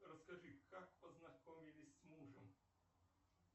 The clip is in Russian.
расскажи как познакомились с мужем